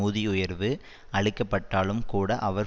ஊதிய உயர்வு அளிக்கப்பட்டாலும் கூட அவர்